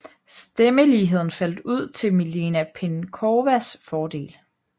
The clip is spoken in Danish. Stemmeligheden faldt ud til Milena Penkowas fordel